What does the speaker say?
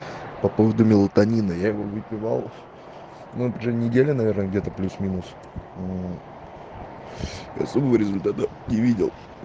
по поводу мелатонина я его выпивал но уже неделю наверное где-то плюс-минус мм особого результата не видел